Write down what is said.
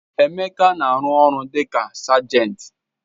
Emeka na-arụ ọrụ dị ka sergent.